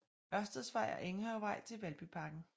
Ørsteds Vej og Enghavevej til Valbyparken